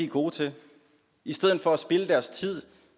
gode til i stedet for at spilde deres tid